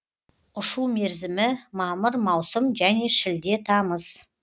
ұшу мерзімі мамыр маусым және шілде тамыз